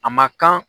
A ma kan